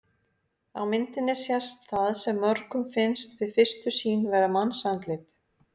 Á myndinni sést það sem mörgum finnst við fyrstu sýn vera mannsandlit.